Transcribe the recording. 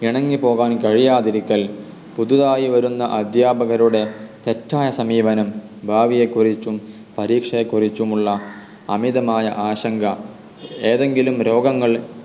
ഇണങ്ങി പോകാൻ കഴിയാതിരിക്കൽ പുതുതായി വരുന്ന അദ്ധ്യാപകരുടെ തെറ്റായ സമീപനം ഭാവിയെ കുറിച്ചും പരീക്ഷയെ കുറിച്ചുമുള്ള അമിതമായ ആശങ്ക എതെങ്കിലും രോഗങ്ങൾ